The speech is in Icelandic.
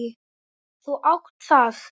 Þú átt það.